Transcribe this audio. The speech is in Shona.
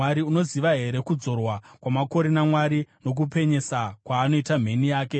Unoziva here kudzorwa kwamakore naMwari nokupenyesa kwaanoita mheni yake?